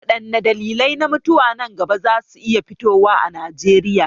Waɗanne dalilai na mutuwa nan gaba za su iya fitowa a Najeriya?